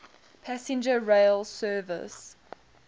passenger rail service